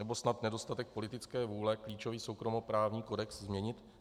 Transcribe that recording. Nebo snad nedostatek politické vůle klíčový soukromoprávní kodex změnit?